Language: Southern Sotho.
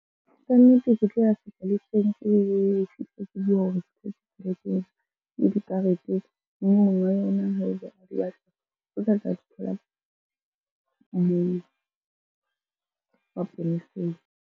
Kannete ke tlo ya sepoleseng ke fihle ke buwe hore dikarete yona haeba o batla o tla tla di thola moo maponeseng.